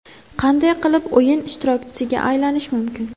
Qanday qilib o‘yin ishtirokchisiga aylanish mumkin?